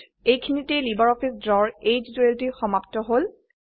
এইখিনিতে লাইব্ৰঅফিছ ড্ৰৰ এই টিউটোৰিয়েলটি সমাপ্ত হল